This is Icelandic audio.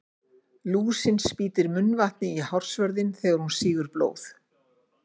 Lúsin spýtir munnvatninu í hársvörðinn þegar hún sýgur blóð.